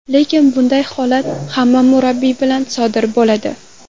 Lekin bunday holat hamma murabbiy bilan sodir bo‘ladi.